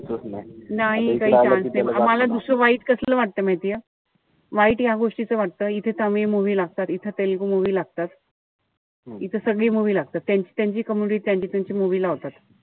नाई काई chance नाई. मला दुसरं वाईट कसलं वाटत माहितीये. वाईट या गोष्टीच वाटत इथं त आम्ही या movie लागतात. इथं तेलगू movie लागतात. इथं सगळी movie लागतात. त्यांची त्यांची community त्यांची-त्यांची movie लावतात.